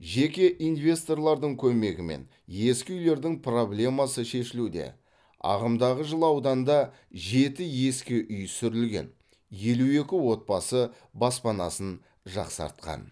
жеке инвесторлардың көмегімен ескі үйлердің проблемасы шешілуде ағымдағы жылы ауданда жеті ескі үй сүрілген елу екі отбасы баспанасын жақсартқан